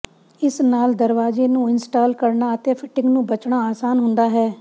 ਇਸ ਨਾਲ ਦਰਵਾਜ਼ੇ ਨੂੰ ਇੰਸਟਾਲ ਕਰਨਾ ਅਤੇ ਫਿਟਿੰਗ ਨੂੰ ਬਚਣਾ ਆਸਾਨ ਹੁੰਦਾ ਹੈ